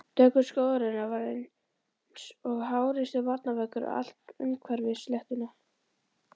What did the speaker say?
Dökkur skógarjaðarinn var einsog háreistur varnarveggur allt umhverfis sléttuna.